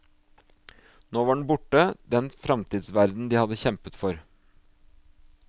Nå var den borte, den framtidsverden de hadde kjempet for.